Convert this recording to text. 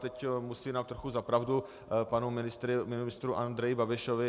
Teď musím dát trochu za pravdu panu ministru Andreji Babišovi.